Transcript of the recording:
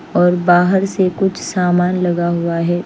और बहार से कुछ सामान लगा हुआ है।